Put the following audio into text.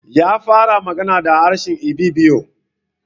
Ya fara magana da harshe Ibibio.